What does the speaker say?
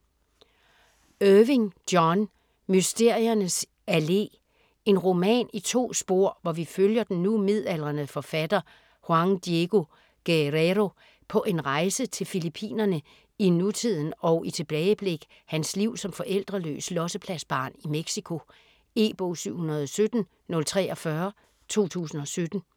Irving, John: Mysteriernes Allé En roman i to spor, hvor vi følger den nu midaldrende forfatter Juan Diego Guerrero på en rejse til Fillippinerne i nutiden og i tilbageblik hans liv som forældreløs "lossepladsbarn" i Mexico. E-bog 717043 2017.